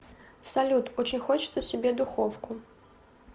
салют очень хочется себе духовку